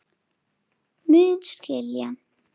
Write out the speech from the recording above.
Mun skilja.